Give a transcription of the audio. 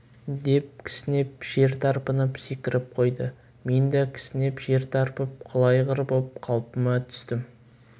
деп кісінеп жер тарпынып секіріп қойды мен де кісінеп жер тарпып құла айғыр боп қалпыма түстім